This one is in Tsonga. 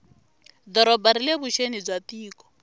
doroba rile vuxeni bya tiko